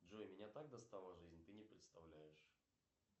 джой меня так достала жизнь ты не представляешь